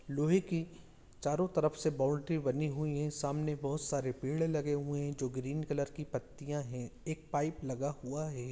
लोहे की चारों तरफ से बाउंड्री बनी हुई है सामने बहुत सारे पेड़ लगे हुए हैं जो ग्रीन कलर की पत्तियां है एक पाइप लगा हुआ है।